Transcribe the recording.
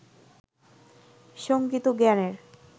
সঙ্গীত ও জ্ঞানের